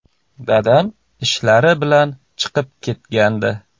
Dadam ishlari bilan chiqib ketgandi.